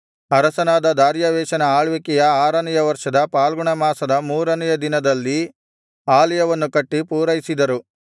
ಅರಸನಾದ ದಾರ್ಯಾವೆಷನ ಆಳ್ವಿಕೆಯ ಆರನೆಯ ವರ್ಷದ ಫಾಲ್ಗುಣ ಮಾಸದ ಮೂರನೆಯ ದಿನದಲ್ಲಿ ಆಲಯವನ್ನು ಕಟ್ಟಿ ಪೂರೈಸಿದರು